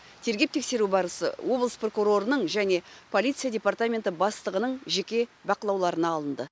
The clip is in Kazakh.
тергеп тексеру барысы облыс прокурорының және полиция департаменті бастығының жеке бақылауларына алынды